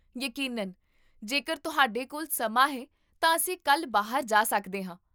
ਯਕੀਨਨ, ਜੇਕਰ ਤੁਹਾਡੇ ਕੋਲ ਸਮਾਂ ਹੈ ਤਾਂ ਅਸੀਂ ਕੱਲ੍ਹ ਬਾਹਰ ਜਾ ਸਕਦੇ ਹਾਂ